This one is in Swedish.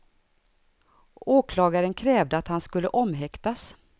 Åklagaren krävde att han skulle omhäktas.